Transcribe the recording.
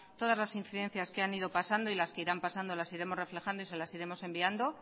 todas las incidencias que han ido pasando y las que irán pasando las iremos reflejando y se las iremos enviando